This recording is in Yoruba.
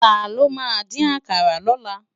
Tàló má din àkàrá lòlá?